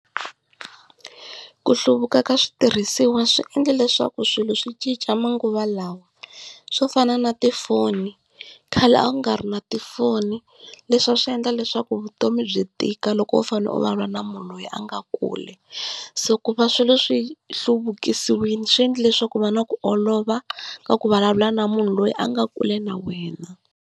Ku hluvuka ka switirhisiwa swi endli leswaku swilo swi cinca manguva lawa, swo fana na tifoni khale a ku nga ri na tifoni, leswi a swi endla leswaku vutomi byi tika loko u fanele u vulavula na munhu loyi a nga kule. So ku va swilo swi hluvukisiwile swi endli leswaku ku va na ku olova ka ku vulavula na munhu loyi a nga kule na wena.